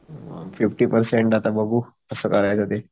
अ fifty percent आता बघू कस करायचं ते